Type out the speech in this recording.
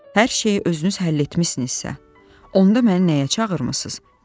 Hər şeyi özünüz həll etmisinizsə, onda məni nəyə çağırmısınız?